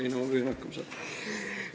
Ma püüan hakkama saada.